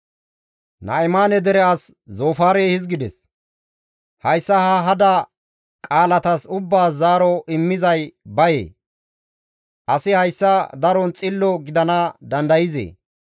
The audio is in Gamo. «Hayssa ha hada qaalatas ubbaas zaaro immizay baye? Asi haasaya daron xillo gidana dandayzee?